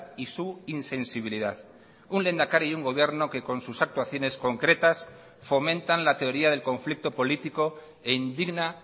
y su insensibilidad un lehendakari y un gobierno que con sus actuaciones concretas fomentan la teoría del conflicto político e indigna